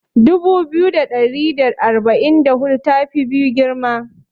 Dubu biyu da ɗari da arba'in da hudu ta fi biyu girma.